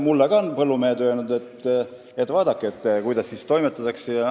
Mulle on ka põllumehed öelnud, et vaadake, kuidas seal toimetatakse.